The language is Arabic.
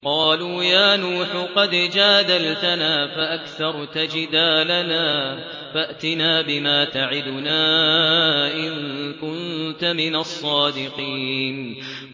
قَالُوا يَا نُوحُ قَدْ جَادَلْتَنَا فَأَكْثَرْتَ جِدَالَنَا فَأْتِنَا بِمَا تَعِدُنَا إِن كُنتَ مِنَ الصَّادِقِينَ